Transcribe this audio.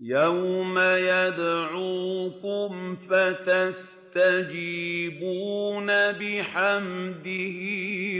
يَوْمَ يَدْعُوكُمْ فَتَسْتَجِيبُونَ بِحَمْدِهِ